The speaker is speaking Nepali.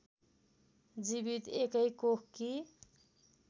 जीवित एकै कोखकी